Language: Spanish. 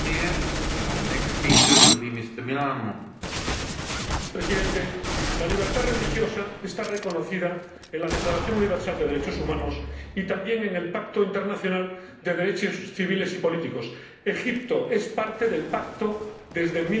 Señor Presidente, la libertad religiosa está reconocida en la Declaración Universal de los Derechos Humanos y también en el Pacto Internacional de Derechos Civiles y Políticos Egipto es Parte en el Pacto desde